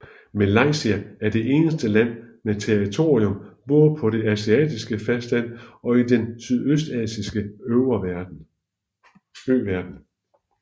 Malaysia er det eneste land med territorium både på det asiatiske fastland og i den sydøstasiatiske øverden